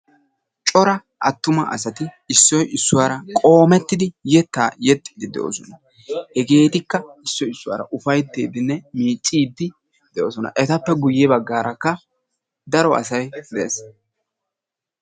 Cora attuma asati issoyi issuwar qoomettidi yettaa yexxiiddi de"oosona. Hegeetikka issoyi issuwara ufayttiiddinne miicciiddi de"oosona. Etapoe guyye baggaarakka daro asayi ezgges.